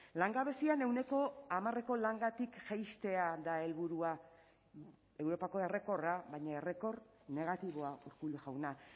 langabezian ehuneko hamareko langatik jaistea da helburua europako errekorra baina errekor negatiboa urkullu jauna